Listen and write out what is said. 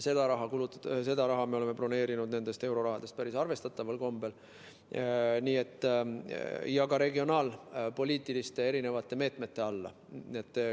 Seda raha me oleme broneerinud sellest eurorahast päris arvestataval kombel ka regionaalpoliitiliste meetmete alla.